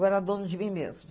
Eu era dona de mim mesma.